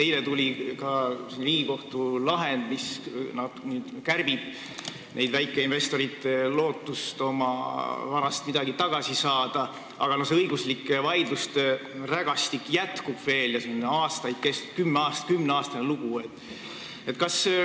Eile tuli ka Riigikohtu lahend, mis kärbib väikeinvestorite lootust oma varast midagi tagasi saada, aga õiguslik vaidluste rägastik veel jätkub ja see on juba kümneaastane lugu.